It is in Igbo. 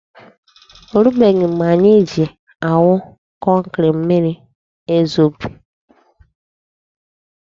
O rubeghị mgbe anyị ji awụ kọnkri, mmiri ezobe.